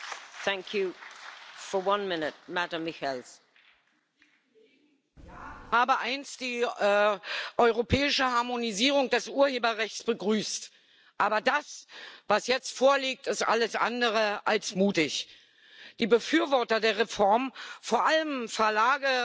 Frau Präsidentin! Ich habe einst die europäische Harmonisierung des Urheberrechts begrüßt. Aber das, was jetzt vorliegt, ist alles andere als mutig. Die Befürworter der Reform, vor allem Verlage und Verwerter,